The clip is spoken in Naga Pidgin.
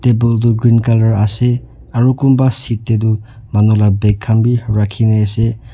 table tu green color ase aro kunba seat de tu manu la bag kan b raki na ase.